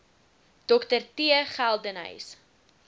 dr t geldenhuys